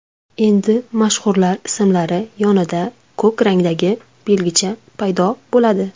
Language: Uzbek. Endi mashhurlar ismlari yonida ko‘k rangdagi belgicha paydo bo‘ladi.